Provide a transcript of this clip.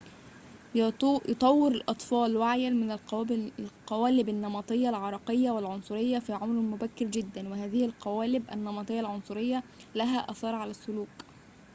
يطور الأطفال وعياً من القوالب النمطية العرقية والعنصرية في عمر مبكر جداً وهذه القوالب النمطية العنصرية لها آثار على السلوك